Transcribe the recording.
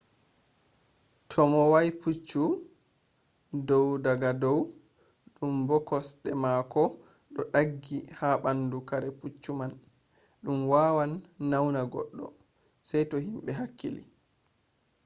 to mo wa’i puccu do’i daga dow ɗumb o kosɗe mako ɗo ɗaggi ha ɓandu kare puccu man ɗum wawan nauna goɗɗo. sai to himɓe hakkili